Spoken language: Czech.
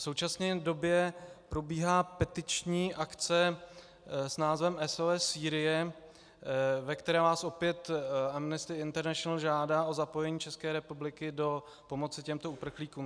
V současné době probíhá petiční akce s názvem SOS Sýrie, ve které nás opět Amnesty International žádá o zapojení České republiky do pomoci těmto uprchlíkům.